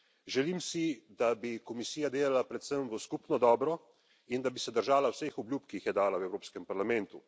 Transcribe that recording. Želim si, da bi Komisija delala predvsem v skupno dobro in da bi se držala vseh obljub, ki jih je dala v Evropskem parlamentu.